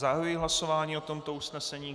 Zahajuji hlasování o tomto usnesení.